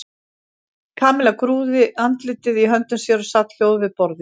Kamilla grúfði andlitið í höndum sér og sat hljóð við borðið.